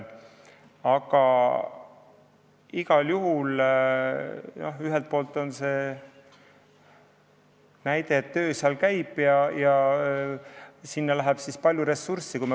Aga ühelt poolt näitab see, et töö käib ja sinna läheb palju ressurssi.